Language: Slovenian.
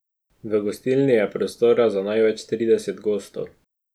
V gostilni je prostora za največ trideset gostov.